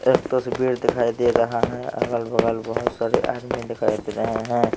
एक तस्वीर दिखाई दे रहा है अगल बगल बहुत सारे आदमी दिखाई दे रहे हैं।